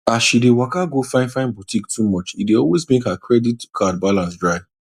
as she dey waka go finefine boutique too much e dey always make her credit card balance dry